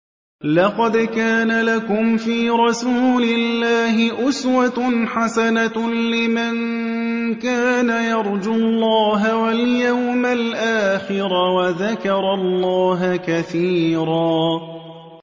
لَّقَدْ كَانَ لَكُمْ فِي رَسُولِ اللَّهِ أُسْوَةٌ حَسَنَةٌ لِّمَن كَانَ يَرْجُو اللَّهَ وَالْيَوْمَ الْآخِرَ وَذَكَرَ اللَّهَ كَثِيرًا